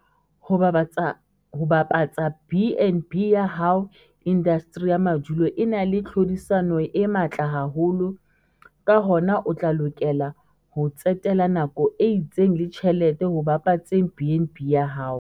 Ho bapatsa BnB ya hao - Indasteri ya madulo e na le tlhodisano e matla haholo, ka hona o tla lokela ho tsetela nako e itseng le tjhelete ho bapatseng BnB ya hao.